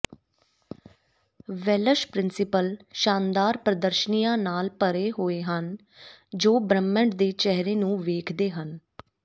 Welsh principal ਸ਼ਾਨਦਾਰ ਪ੍ਰਦਰਸ਼ਨੀਆਂ ਨਾਲ ਭਰੇ ਹੋਏ ਹਨ ਜੋ ਬ੍ਰਹਿਮੰਡ ਦੇ ਚਿਹਰੇ ਨੂੰ ਵੇਖਦੇ ਹਨ